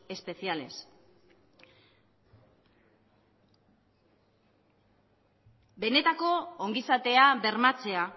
especiales benetako ongizatea bermatzea